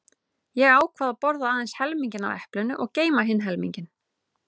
Ég ákvað að borða aðeins helminginn af eplinu og geyma hinn helminginn.